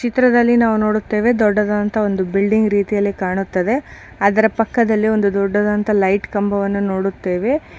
ಚಿತ್ರದಲ್ಲಿ ನಾವು ನೋಡುತ್ತೇವೆ ದೊಡ್ಡದಂತ ಒಂದು ಬಿಲ್ಡಿಂಗ್ ರೀತಿಯಲ್ಲಿ ಕಾಣುತ್ತದೆ ಅದರ ಪಕ್ಕದಲ್ಲಿ ದೊಡ್ಡದಂತ ಲೈಟ್ ಕಂಬವನ್ನ ನೋಡುತ್ತೇವೆ.